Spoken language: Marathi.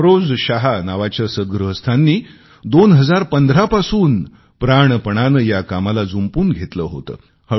अफरोज शाह नावाच्या सद्गृहस्थांनी 2015 पासून प्राणपणाने या कामाला जुंपून घेतले होते